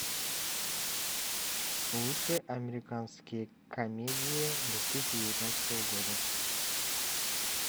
лучшие американские комедии две тысячи девятнадцатого года